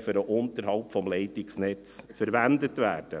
für den Unterhalt des Leitungsnetzes verwendet werden.